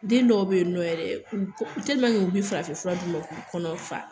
Den dɔw bɛ yen nɔ yɛrɛ, u bɛ farafin fura min k'u kɔnɔ fa.